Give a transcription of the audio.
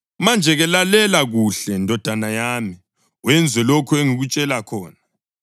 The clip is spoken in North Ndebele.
Manje-ke lalela kuhle, ndodana yami, wenze lokho engikutshela khona: